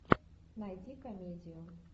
найди комедию